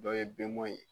Dɔ ye bɔnmɔn ye